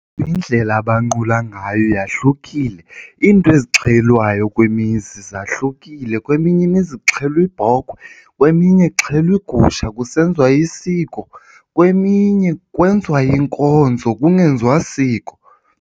Indlela abanqula ngayo yahlukile. Iinto ezixhelwayo kwimizi zahlukile, kweminye imizi kuxhelwa ibhokhwe kweminye kuxhelwa igusha kusenziwa isiko. Kweminye kwenziwa inkonzo kungenziwa siko.